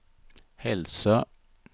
Hälsö